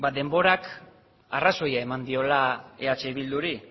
denborak arrazoia eman diola eh bilduri